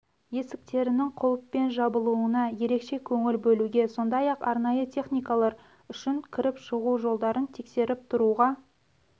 есіктерінің құлыппен жабылуына ерекше көңіл бөлуге сондай-ақ арнайы техникалар үшін кіріп шығу жолдарын тексеріп тұруға